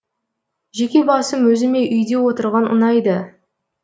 жеке басым өзіме үйде отырған ұнайды